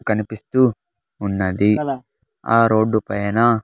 కనిపిస్తూ ఉన్నది ఆ రోడ్డుపైన .